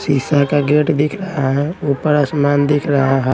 शीशा का गेट दिख रहा है ऊपर आसमान दिख रहा है।